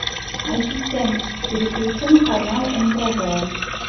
ассистент переключи на канал нтв